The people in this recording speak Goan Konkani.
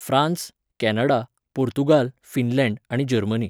फ्रान्स, कॅनडा, पोर्तुगाल, फिनलॅंड आनी जर्मनी